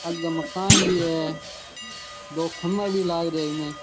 आगे मकान भी है दो खम्भा भी लाग रिया है इमें।